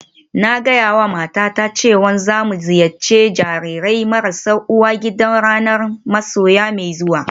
Na gaya wa matata cewa za mu ziyarci jarirai marasa uwa gida ranar masoya mai zuwa